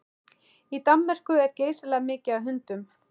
Í Danmörku er geysilega mikið af hundum.